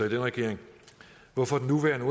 i den regering hvorfor den nuværende